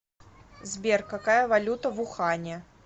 сбер какая валюта в ухане